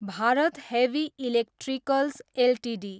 Bharat heavy electricals Ltd